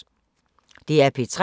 DR P3